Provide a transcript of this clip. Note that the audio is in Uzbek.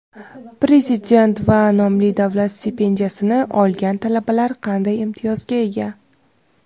Prezident va nomli davlat stipendiyasini olgan talabalar qanday imtiyozga ega?.